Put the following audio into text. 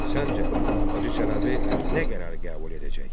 Səncə, Hacı Çələbi nə qərar qəbul edəcək?